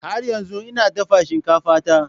Har yanzu ina dafa shinkafa ta.